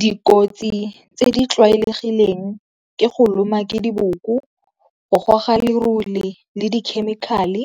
Dikotsi tse di tlwaelegileng ke go loma ke diboko, go goga lerole, le di-chemical-e